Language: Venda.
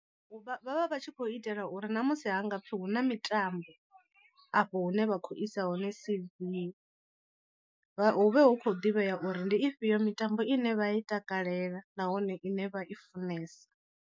Vha vha vha vha tshi khou itela uri ṋamusi ha nga pfhi hu na mitambo afho hune vha khou isa hone C_V vha hu vhe hu khou ḓivhea uri ndi ifhio mitambo ine vha i takalela nahone ine vha i funesa.